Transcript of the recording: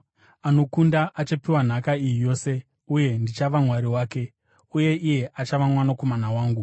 Anokunda achapiwa nhaka iyi yose, uye ndichava Mwari wake, uye iye achava mwanakomana wangu.